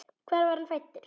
Hvar var hann fæddur?